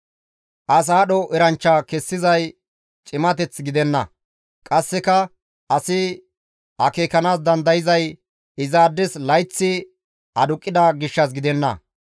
As aadho eranchcha kessizay cimateth gidenna; qasseka asi akeekanaas dandayzay izaades layththi aduqqida gishshas gidenna.